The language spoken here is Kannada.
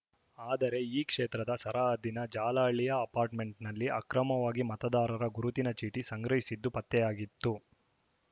ಆದರೆ ಈ ಕ್ಷೇತ್ರದ ಸರಹದ್ದಿನ ಜಾಲಹಳ್ಳಿಯ ಅಪಾರ್ಟ್‌ಮೆಂಟ್‌ನಲ್ಲಿ ಅಕ್ರಮವಾಗಿ ಮತದಾರರ ಗುರುತಿನ ಚೀಟಿ ಸಂಗ್ರಹಿಸಿಟ್ಟು ಪತ್ತೆಯಾಗಿತ್ತು